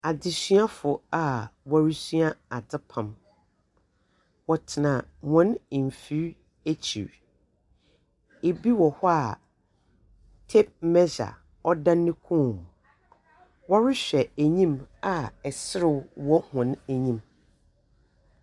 Adesuafo a wɔn resua adepam. Wɔntena wɔn mfiri akyire. Ebi wɔ hɔ a tape mɛhya ɛda wɔn kɔn mu. Wohwɛ wɔn anim a sereɛ wɔ wɔn anim.